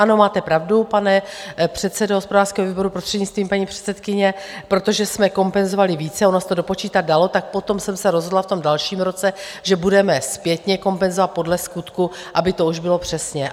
Ano, máte pravdu, pane předsedo hospodářského výboru, prostřednictvím paní předsedkyně, protože jsme kompenzovali více, ono se to dopočítat dalo, tak potom jsem se rozhodla v tom dalším roce, že budeme zpětně kompenzovat podle skutku, aby to už bylo přesně.